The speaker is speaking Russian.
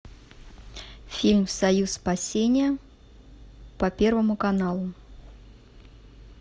фильм союз спасения по первому каналу